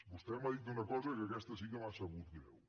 vostè m’ha dit una cosa que aquesta sí que m’ha sabut greu